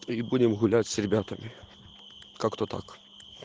и будем гулять с ребятами как-то так